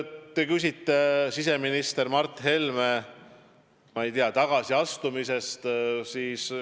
Te küsisite siseminister Mart Helme tagasiastumise kohta.